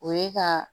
O ye ka